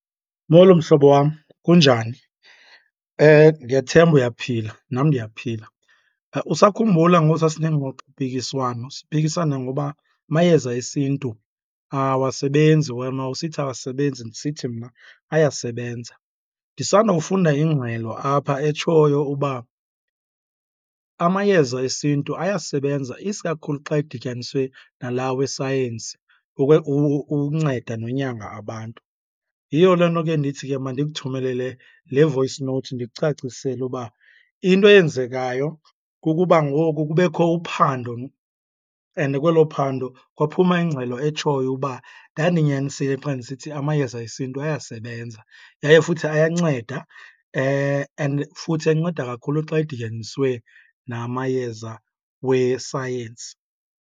Molo, mhlobo wam, kunjani? Ndiyathemba uyaphila, nam ndiyaphila. Usakhumbula ngosasinengxoxo mpikiswano siphikisana ngoba amayeza esintu awasebenzi? Wena wawusithi awasebenzi, ndisithi mna ayasebenza. Ndisandawufunda ingxelo apha etshoyo uba amayeza esintu ayasebenza isikakhulu xa edityaniswe nala wesayensi ukunceda nonyanga abantu. Yiyo loo nto ke ndithi ke mandikuthumelele le voice note ndikucacisele uba into eyenzekayo kukuba ngoku kubekho uphando and kwelo phando kwaphuma ingxelo etshoyo uba ndandinyanisile xa ndisithi amayeza esintu ayasebenza yaye futhi ayanceda, and futhi enceda kakhulu xa edityaniswe namayeza wesayensi.